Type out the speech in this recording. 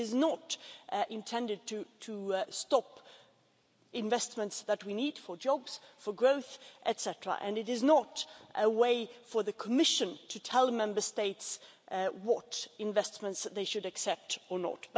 It is not intended to stop investment that we need for jobs, for growth etcetera, and it is not a way for the Commission to tell Member States what investments they should accept or not.